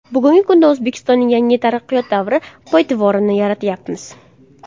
Bugungi kunda O‘zbekistonning yangi taraqqiyot davri poydevorini yaratyapmiz.